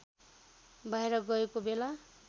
बाहिर गएका बेला